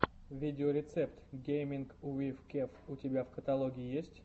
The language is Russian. видеорецепт гейминг уив кев у тебя в каталоге есть